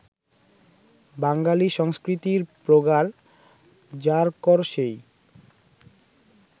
বাঙালি সংস্কৃতির প্রগাঢ় জারকরসেই